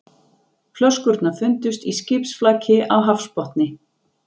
Flöskurnar fundust í skipsflaki á hafsbotni